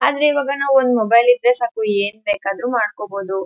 ಆದ್ರೆ ಈಗ ನಾವು ಒಂದ್ ಮೊಬೈಲ್ ಇದ್ರೆ ಸಾಕು ಏನ್ ಬೇಕಾದ್ರೂ ಮಾಡಬೋದು .